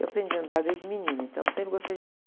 Eu aprendi a andar desde menina, então sempre gostei de andar.